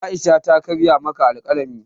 Aisha ta karya maka alkalami